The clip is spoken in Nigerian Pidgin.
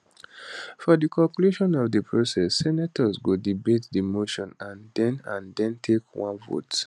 for di conclusion of di process senators go debate di motion and den and den take one vote